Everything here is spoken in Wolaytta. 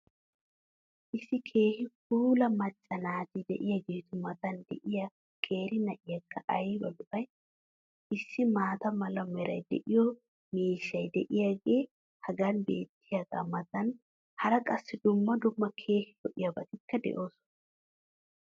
issi keehi puula macca naati diyageetu matan diya qeeri na'iyaakka ayba lo'ay! issi maata mala meray de'iyo miishshay diyaagee hagan beetiyaagaa matan hara qassi dumma dumma keehi lo'iyaabatikka de'oosona.